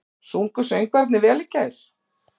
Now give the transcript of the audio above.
Sungu söngvararnir vel í gær?